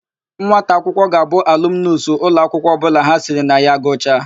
Nwata akwụkwọ ga-abụ alumunus ụlọakwụkwọ ọbụla ha siri na ya gụchaa.